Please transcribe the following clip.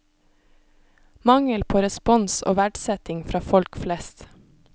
Mangel på respons og verdsetting fra folk flest.